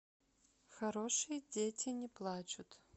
хорошие дети не плачут